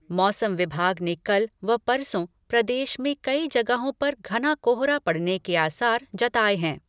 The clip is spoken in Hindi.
मौसम विभाग ने कल व परसों, प्रदेश में कई जगहों पर घना कोहरा पड़ने के आसार जताये हैं।